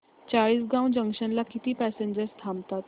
Chalisgaon junction ला किती passengers थांबतात